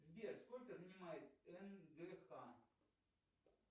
сбер сколько занимает нгх